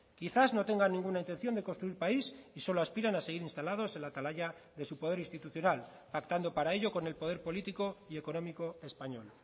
quizás no tenga ninguna intención de construir país y solo aspiran a seguir instalados en la atalaya de su poder institucional pactando para ello con el poder político y económico español